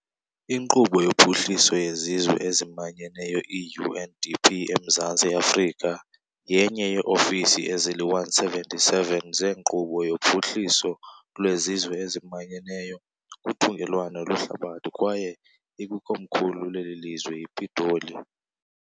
Inkqubo yoPhuhliso yeZizwe eziManyeneyo, i-UNDP, eMzantsi Afrika yenye yeeofisi ezili-177 zeNkqubo yoPhuhliso lweZizwe eziManyeneyo kuthungelwano lwehlabathi kwaye ikwikomkhulu leli lizwe iPitoli.